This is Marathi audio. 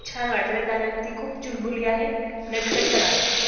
छान वाटलं कारण ती खूप चुलबुली आहे, नटखट पण आहे.